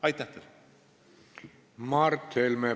Mart Helme, palun!